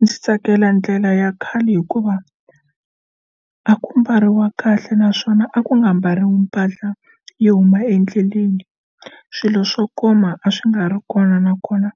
Ndzi tsakela ndlela ya khale hikuva a ku mbariwa kahle naswona a ku nga mbariwi mpahla yo huma endleleni swilo swo koma a swi nga ri kona nakona